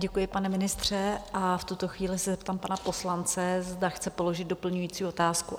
Děkuji, pane ministře, a v tuto chvíli se zeptám pana poslance, zda chce položit doplňující otázku?